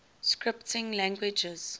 scripting languages